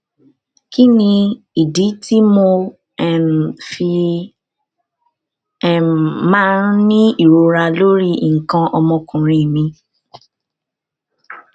kí ni ìdí tí mo um fi um máa ń ní ìrora lórí nǹkan ọmọkùnrin mi